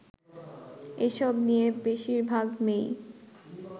এসব নিয়ে বেশিরভাগ মেয়েই